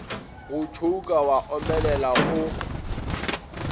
go tšhouka wa omelela o